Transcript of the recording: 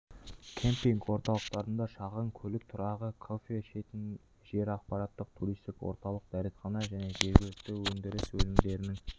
кемпинг орталықтарында шағын көлік тұрағы кофе ішетін жер ақпараттық туристік орталық дәретхана және жергілікті өндіріс өнімдерінің